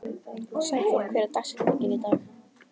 Sæþór, hver er dagsetningin í dag?